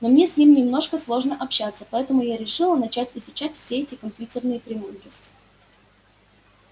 но мне с ним немножко сложно общаться поэтому я решила начать изучать все эти компьютерные премудрости